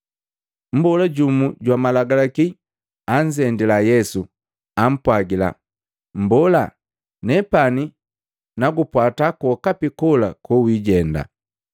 Mmbola jumu jwa Malagalaki anzendila Yesu, ampwagila, “Mmbola, nepani nagupwata kwokapi kola kowijenda.”